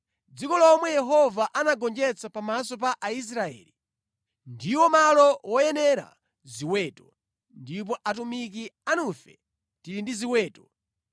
dziko lomwe Yehova anagonjetsa pamaso pa Aisraeli, ndiwo malo woyenera ziweto, ndipo atumiki anufe tili ndi ziweto.